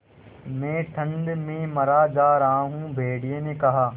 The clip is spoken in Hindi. मैं ठंड में मरा जा रहा हूँ भेड़िये ने कहा